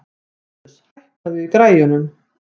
Bambus, hækkaðu í græjunum.